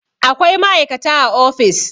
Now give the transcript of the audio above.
Akwai ma'aikata a ofis.